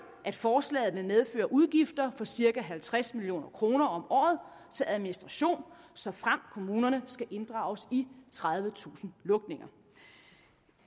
at forslaget vil medføre udgifter på cirka halvtreds million kroner om året til administration såfremt kommunerne skal inddrages i tredivetusind lukninger